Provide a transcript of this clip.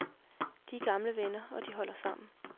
De er gamle venner, og de holder sammen.